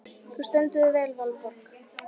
Þú stendur þig vel, Valborg!